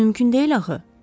Bu mümkün deyil axı.